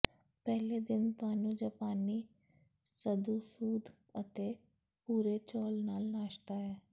ਪਹਿਲੇ ਦਿਨ ਤੁਹਾਨੂੰ ਜਾਪਾਨੀ ਮਧੂ ਸੂਪ ਅਤੇ ਭੂਰੇ ਚੌਲ ਨਾਲ ਨਾਸ਼ਤਾ ਹੈ